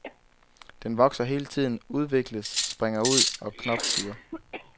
Den vokser hele tiden, udvikles, springer ud og knopskyder.